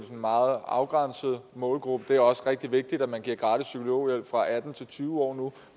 en meget afgrænset målgruppe det er også rigtig vigtigt at man giver gratis psykologhjælp fra atten til tyve år nu